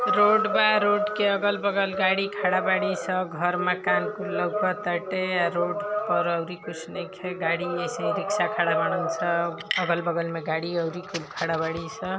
road बा road के अगल बगल गाड़ी खड़ा बड़ी सं घर माकन लउकताटे रोड पर अउरी कुछ नइखे गाडी ऐसे ही रिक्सा खड़ा बान सन अगल बगल में गाडी अउरी कुल खड़ा बड़ी सं |